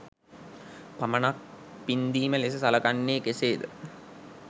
පමණක් පින්දීම ලෙස සලකන්නේ කෙසේද?